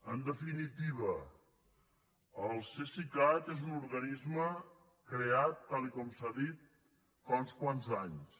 en definitiva el cesicat és un organisme creat tal com s’ha dit fa uns quants anys